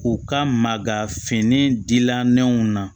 U ka maga fini dila nɛnw na